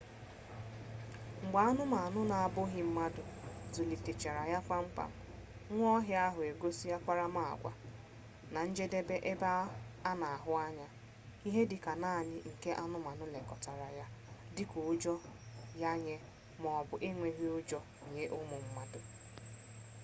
mgbe anumanu na-abughi-mmadu zulitechara ya kpam-kpam nwa-ohia ahu egosi akparama-agwa na njedebe ebe ana ahu anya ihe dika nani nke anumanu-nlekota ya dika ujo ya nye maobu enweghi ujo nye umu mmadu